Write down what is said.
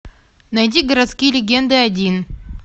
найди городские легенды один